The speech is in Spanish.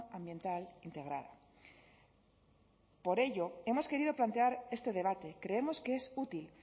ambiental integrada por ello hemos querido plantear este debate creemos que es útil